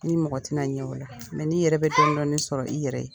I ni mɔgɔ ti na ɲɛ o la . n'i yɛrɛ bi dɔn dɔn ni sɔrɔ i yɛrɛ ye